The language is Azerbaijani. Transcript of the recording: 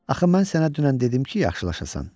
Axı mən sənə dünən dedim ki, yaxşılaşasan.